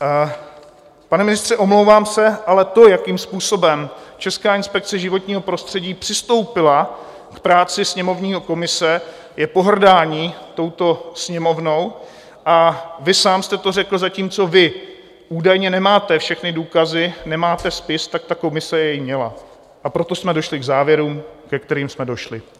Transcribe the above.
Pane ministře, omlouvám se, ale to, jakým způsobem Česká inspekce životního prostředí přistoupila k práci sněmovní komise, je pohrdání touto Sněmovnou a vy sám jste to řekl - zatímco vy údajně nemáte všechny důkazy, nemáte spis, tak ta komise jej měla, a proto jsme došli k závěrům, ke kterým jsme došli.